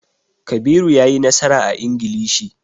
Kabiru ya yi nasara a Ingilishi.